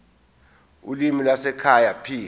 ulimi lwasekhaya p